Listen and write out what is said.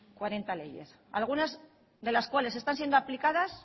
cuarenta leyes algunas de las cuales están siendo aplicadas